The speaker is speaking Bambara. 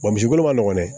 misi kolo ma nɔgɔn dɛ